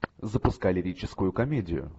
запускай лирическую комедию